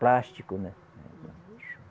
Plástico, né?